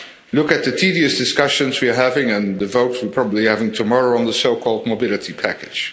Look at the tedious discussions we are having and the votes we are probably having tomorrow on the so called mobility package.